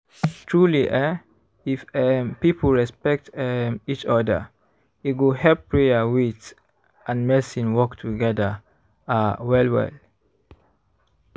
truely eeh if um people respect um each oda e go help prayer wait and medicine work togeda ah well well.